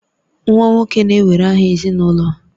Nwa nwoke na-ewere aha ezinụlọ